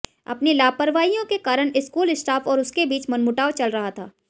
अपनी लापरवाहियों के कारण स्कूल स्टाफ और उसके बीच मनमुटाव चल रहा था